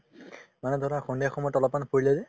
মানে ধৰা সন্ধিয়া সময়ত অলপমান ফুৰিলে যে